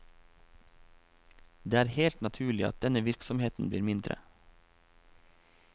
Det er helt naturlig at denne virksomheten blir mindre.